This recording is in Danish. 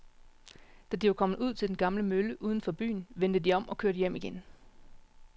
Da de var kommet ud til den gamle mølle uden for byen, vendte de om og kørte hjem igen.